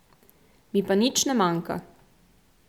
Mi pa nič ne manjka.